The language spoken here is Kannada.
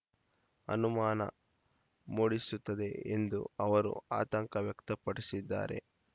ಅನುಮಾನ ಮೂಡಿಸುತ್ತದೆ ಎಂದೂ ಅವರು ಆತಂಕ ವ್ಯಕ್ತಪಡಿಸಿದ್ದಾರೆ